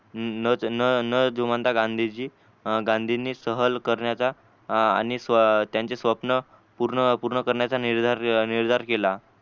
न न न जोमनता गांधीजी अं गांधींनी सहल करण्याचा आणि तीनचे स्वप्न पूर्ण पूर्ण कर्णीचा निधार केला.